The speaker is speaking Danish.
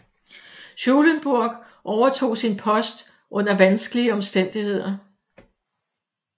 Schulenburg overtog sin post under vanskelige omstændigheder